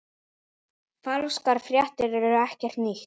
Falskar fréttir eru ekkert nýtt.